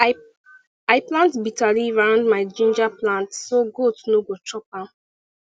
i plant bitter leaf around my ginger plant so goat no go chop am